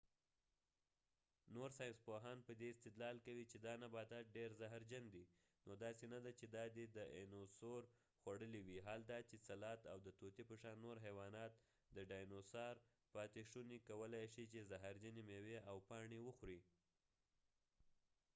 نور ساینسپوهان په دي استدلال کوي چې دا نباتات ډیر زهر جن دي ، نو داسې نه ده چې دا دي داینوسور خوړلی وي حال دا چې سلات او د طوطی په شان نور حیوانات د ډاینو سار پاتی شونی کولای شي چې زهرجنی میوې او پاڼی وخوری